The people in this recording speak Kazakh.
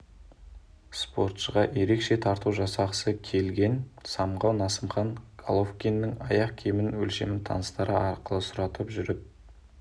спортшыға ерекше тарту жасағысы келген самғау насымхан головкиннің аяқ киім өлшемін таныстары арқылы сұратып жүріп